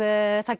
það